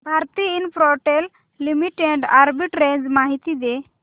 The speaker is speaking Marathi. भारती इन्फ्राटेल लिमिटेड आर्बिट्रेज माहिती दे